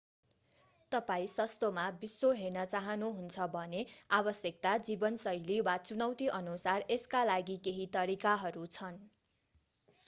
तपाईं सस्तोमा विश्व हेर्न चाहानुहुन्छ भने आवश्यकता जीवनशैली वा चुनौतीअनुसार यसका लागि केही तरिकाहरू छन्